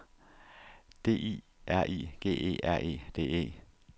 D I R I G E R E D E